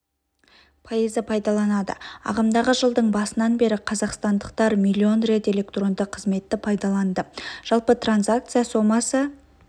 пайызы пайдаланады ағымдағы жылдың басынан бері қазақстандықтар млн рет электронды қызметті пайдаланды жалпы транзакция сомасы